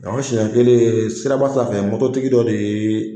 Ni y'an siɲɛ kelen ye siraba sanfɛ mɔto tigi dɔ de ye.